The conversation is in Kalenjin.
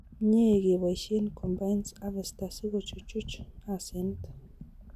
Mie keboisie combines harvester sikochuchuch asenet